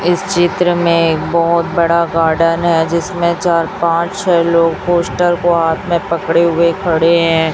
इस चित्र में बहोत बड़ा गार्डन है जिसमें चार पांच लोग पोस्टर को हाथ में पकड़े हुए खड़े हैं।